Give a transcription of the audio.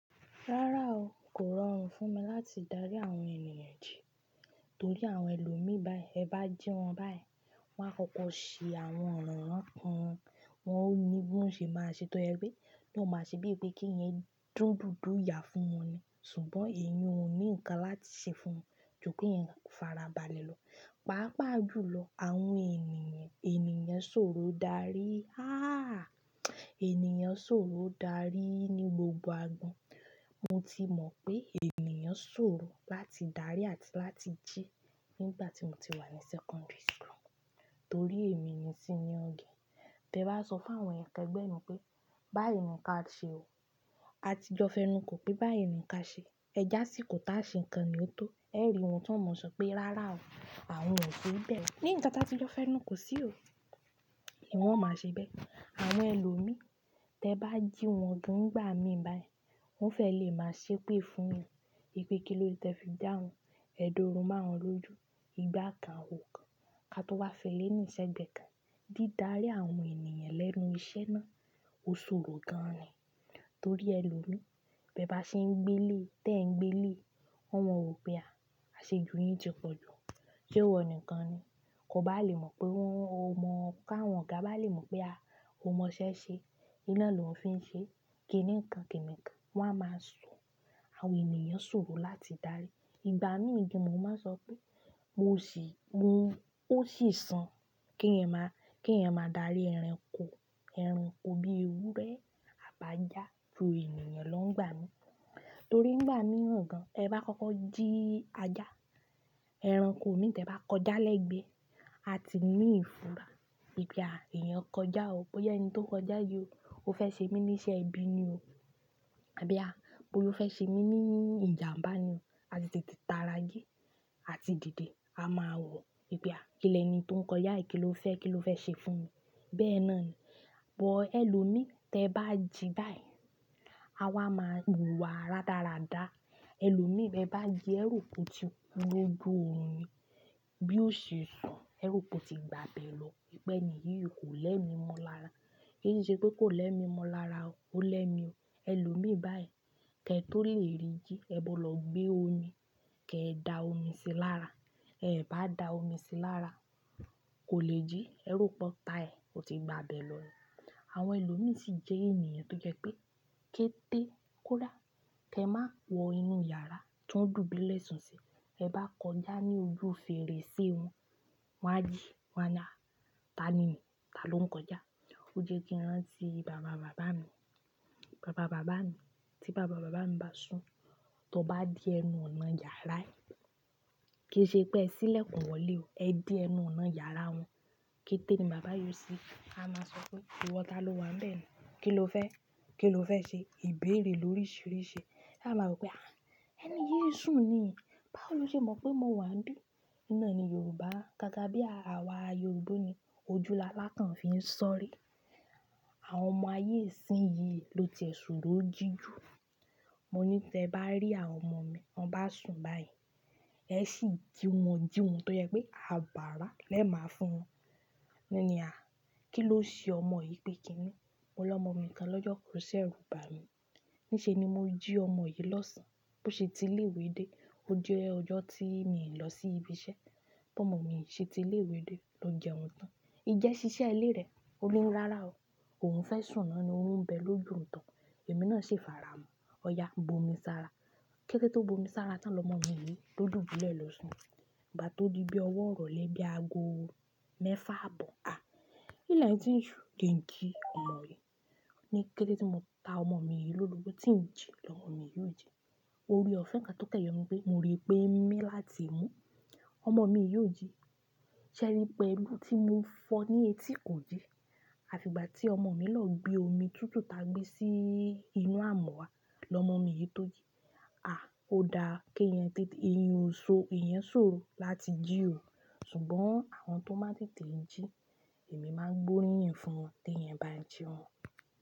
Rárá o, kò rọrùn fún mi láti darí àwọn ènìyàn jí. Torí àwọn ẹlòmí bái, ẹ bá jí wọn báì, wa á kọ́kọ́ ṣe àwọn ọ̀ràn ran kan. Wọn ò ní bí wọ́n ṣe máa ṣe tó jẹ pé. Wọn máa ṣe bíi pé kí ẹ̀yin dùn dundùn iyà fún wọn ni. Ṣùgbọ́n èyan ò ní ǹkan láti ṣe fún wọn, ju kí ẹ̀yin farabalẹ̀ lọ. Pàápàá jùlọ, àwọn ènìyàn, ènìyàn sòro darí. Há! Ènìyàn sòro darí ní gbogbo agbọn. Mo ti mọ̀ pé ènìyàn sòro láti darí àti láti jí nígbà tí mo ti wà ní secondary school. Torí èmi ni sí ní ọ̀gẹ̀. Tẹ bá sọ fún àwọn ẹkẹ gbẹ́ pé, "Báyi ni ká ṣe o." Àtijọ́ fẹ́nuko pé báyi ni ká ṣe. Ẹ jásíkò tá se nǹkan ye ó tó. Ẹ rí wọn tó mọ̀ sọ pé, "Rárá o, àwọn ò ṣe bẹ́ẹ̀ lọ." Ni nkan ta tijọ fẹ́nuko sí o, wọn máa ṣe bẹ́ẹ̀. Àwọn ẹlòmí, tẹ bá jí wọn dùn gbà mí báyi, wọn fẹ́ lè máa ṣe pé fún mi. I pé kí ló ti ẹ fi jáwọn, ẹ̀dọ̀ orun máawọ́n lójú. Igbá kan ò kan. Ka tó wá fẹ́lẹ́ ní sẹ́gbẹ̀ kan. Dídarí àwọn ènìyàn lẹ́nu iṣẹ́ náà ò sòro gan ni. Torí ẹlòmí, bẹ bá ṣe ń gbé lé, tẹ ń gbé lé, wọ́n mo wọ̀ pé a, a ṣe jù yín ti pọ̀jù. Sé wọ nìkan ni? Kò bá lè mọ̀ pé wọ́n ò mọ ká wọn oga bá lè mọ̀ pé a ò mọ iṣẹ́ ṣe. Iná lòo fi ń ṣe. Kìní kan, kìní kan. Wọ́n á máa sọ. Àwọn ènìyàn sòro láti darí. Ìgbà mí gan mo máa n sọ pé, mo sì, mo, ó sì san kí ẹ̀yan máa, kí ẹ̀yan máa darí ẹranko. Ẹranko bíi ewúrẹ́, àbájá, ju ènìyàn lọ ń gbà mí. Torí ń gbà mí ràn gan. Ẹ bá kọ́kọ́ jí ajá, ẹranko mi n tẹ bá kọjá lẹ́gbẹ́ẹ́, a ti ní ìfura. Ípe à, èèyàn kọjá o. Bóyá ẹni tó ń kọjá yìí o, ó fẹ́ ṣe mí ní iṣẹ́ ẹbí ni o. Àbí à, bóyó fẹ́ ṣe mí ní ìjàǹbá ni o. A tètè ta rágẹ́, àti dìde. A máa wò, ìpí à, kí leni tó ń kọjá yìí kí ló fẹ́, kí ló fẹ́ ṣe fún mi. Bẹ́ẹ̀ náà ni. Bọ́ ẹlòmí, tẹ bá jí báyi, a wá máa wùwà rádaradá. Ẹlòmí bebá jí, ẹro pò ti ku loju oòrùn ni. Bí ó ṣe sun, ẹro pò ti gba bẹ̀ lọ. Pẹ́ ènìyí kò lẹ́mi mọ́ lára. Kì í ṣe pé kò lẹ́mi mọ́ lára o. Ó lẹ́mi o. Ẹlòmí báyi, kẹ tó lè rí jí, ẹ bọ̀ lọ gbé omi, kẹ dà omi sí lára. Ẹ bá dà omi sí lára, kò lè jí. Ẹrú pọ́tá ẹ, ó ti gba bẹ̀ lọ ni. Àwọn ẹlòmí sì jẹ́ ènìyàn tó jẹ́ pé, kété kó dá. Kẹ má wọ inú yàrá tiwon dùbúlẹ̀ sùn sí. Ẹ bá kọjá ní ojú fèrèsé wọn, wọ́n á jí. Wọ́n ni á "Ta ni? Ta ló ń kọjá?" Ó jẹ́ kí n tí bàba bàbá mi. Bàba bàbá mi. Tí bàba bàbá mi bá sùn, tó bá dì ẹnu ọ̀nà yàrá ẹ, kì í ṣe pé ẹ ṣílẹ̀kùn wọlé o. Ẹ dì ẹnu ọ̀nà yàrá wọn. Kété ni bàbá yóò sí. A máa sọ pé, "Ìwọ ta ló wà nbẹ̀ ni? Kí ló fẹ́? Kí ló fẹ́ ṣe?" Ìbéèrè ló ríṣìíríṣìí. A máa wò pé, "Ah! Ẹni yí sùn ni. Báwo ló ṣe mọ̀ pé mo wà nbí?" n ná ni Yorùbá, gágá bí àwa Yorùbá ni ojú lalákàn fi ń ṣọ́rí. Àwọn ọmọ ayé sìnyí ló ti ẹ sòro jí jù. Mo ní tẹ bá rí àwọn ọmọ mi, wọ́n bá sùn báyi, ẹ sì jí wọn, jí wọn tó jẹ́ pé abara lẹ́ máa fún wọn. N ní a, "Kí ló ṣe ọmọ yìí pé kí ni?" Mo lọmọ mi kan lọ́jọ́ kan o seru ba mi. Níṣe ni mo jí ọmọ yìí lọ́sàn-án. Bo ṣe ti lé ìwé dé, ó jẹ́ ọjọ́ tí mi i lọ sí ibi iṣẹ́. Bo ọmọ mi ṣe ti lé ìwé dé, ló jẹun tán. N jẹ́ ṣiṣẹ́ ilé rẹ̀. Ó ni rárá o. Òun fẹ́ sùn náà ni orun n bẹ loju ohun to. Ẹ̀mí náà si fara mọ́. Ọ̀yà bomi sára. Kékété tó bomi sára tán lọmọ mi yìí ló dùbúlẹ̀ lọ sùn. Ìgbà tó dí bí ọwọ́ irole bí ago mẹ́fà abọ̀, a! Ílẹ̀ tí ń su je n kí ọmọ yìí. Ní kékété tí mo ta ọmọ mi yìí lórogbo, tí ń jí lọmọ mi yìí ò jí. Orí ọ̀fẹ́ kan tó kan yọ ni pé, mo rí pé n mi láti imú ọmọ mi yìí ò jí. Ṣẹ́rí pelu tí mo fọ ní etí ko jí. Àfi ìgbà tí ọmọ mi lọ gbé omi tútù ta gbé sí inú amuwa, lọmọ mi yìí tó jí. A! Ó dáa keeyan tètè, eeyan ò sò, eeyan sòro láti jí o. Ṣùgbọ́n àwọn tó máa tètè jí, èmi máa gbóríyìn fún wọn, tẹ̀yin bá n jí wọn.